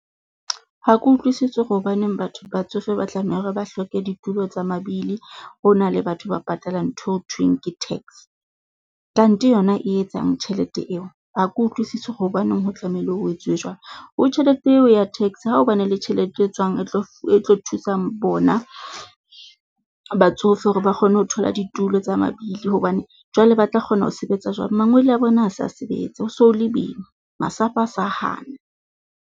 Ha ke utlwisise hobaneng batho batsofe ba tlameha hore ba hloke ditulo tsa mabili. Ho na le batho ba patalang ntho eo thweng ke tax. Kante yona e etsang tjhelete eo? Ha ke utlwisisi hobaneng ho tlamehile ho etsuwe jwalo, ho tjhelete eo ya tax ha ho bane le tjhelete e tswang etlo etlo thusang bona batsofe hore ba kgone ho thola ditulo tsa mabili hobane jwale ba tla kgona ho sebetsa jwang? Mangwele a bona ha a sa sebetsa. Ho so le boima, masapo a sa hana.